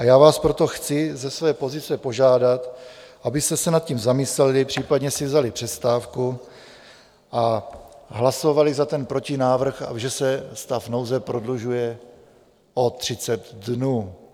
A já vás proto chci ze své pozice požádat, abyste se nad tím zamysleli, případně si vzali přestávku a hlasovali za ten protinávrh, že se stav nouze prodlužuje o 30 dnů.